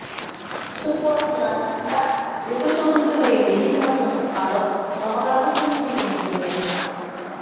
осы форумның арқасында екі үш жылдың төңірегінде импорттың қысқарып бағалардың төмендегенін көреміз